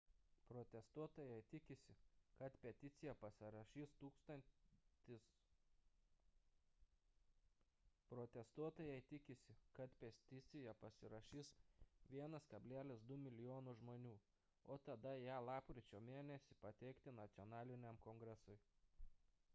protestuotojai tikisi kad peticiją pasirašys 1,2 mln žmonių o tada ją lapkričio mėn. pateikti nacionaliniam kongresui